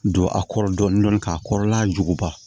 Don a kɔrɔ dɔɔni dɔɔni k'a kɔrɔla juguba